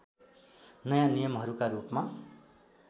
नयाँ नियमहरूका रूपमा